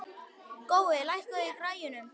Gói, lækkaðu í græjunum.